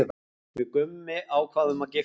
Við Gummi ákváðum að giftast.